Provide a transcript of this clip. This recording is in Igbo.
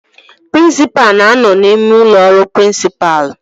Prịnsịpalụ na-anọ n'ime ụlọ ọrụ prịnsịpalụ